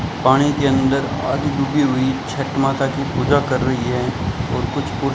पानी के अंदर आधी डूबी हुई छठ माता की पूजा कर रही है और कुछ पु--